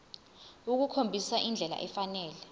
ukukhombisa indlela efanele